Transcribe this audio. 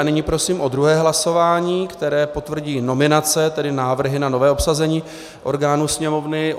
A nyní prosím o druhé hlasování, které potvrdí nominace, tedy návrhy na nové obsazení orgánů Sněmovny.